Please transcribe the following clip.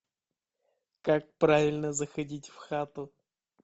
как правильно заходить в хату